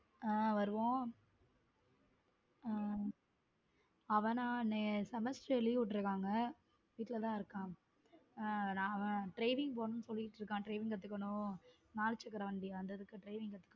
ஹம் வருவோம் ஹம் அவனா semester leave விட்டு இருக்காங்க வீட்ல தான் இருக்க அவன் driving பொண்ணு சொல்லிட்டு இருக்கான் driving கத்துக்கணும் நாலு சக்கர வண்டி வந்ததுக்கு driving கத்துக்கணும்.